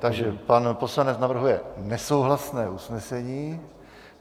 Takže pan poslanec navrhuje nesouhlasné usnesení.